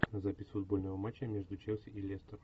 запись футбольного матча между челси и лестер